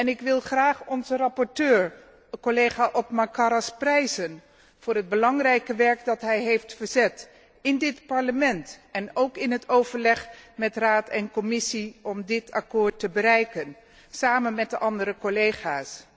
Ik wil graag onze rapporteur, collega Othmar Karas, prijzen voor het belangrijke werk dat hij heeft verzet in dit Parlement en ook in het overleg met Raad en Commissie om dit akkoord te bereiken, samen met de andere collega's.